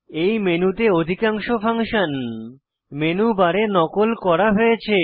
এই মেনুতে অধিকাংশ ফাংশন মেনু বারে নকল করা হয়েছে